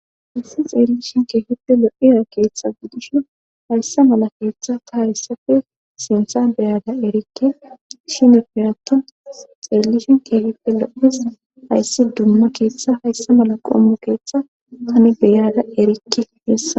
hayssi xeellishin keehipte lo7iya keeththa gudish haysse mala keeththa ta hayssafe sintha beyada erikke shini piraton xeellishin keehippe lo7is hayssi dumma keeththa haysse mala qommu keeththa tani beyada erikki yessa